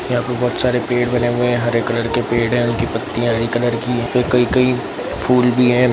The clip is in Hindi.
यहाँ पे बहुत सारे पेड़ बने हुए हैं | हरे कलर के पेड़ है उनकी पत्तियां हरे कलर की है और कही कही फूल भी है ।